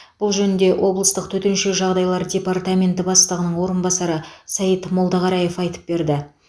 бұл жөнінде облыстық төтенше жағдайлар департаменті бастығының орынбасары саид молдақараев айтып берді